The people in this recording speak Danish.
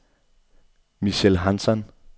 Michelle Hansson